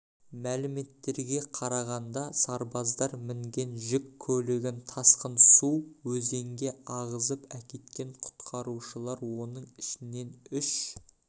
мәліметтерге қарағанда сарбаздар мінген жүк көлігін тасқын су өзенге ағызып әкеткен құтқарушылар оның ішінен үш